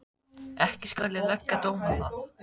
Ekki skal ég leggja dóm á það.